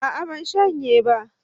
A'a ban shanye ba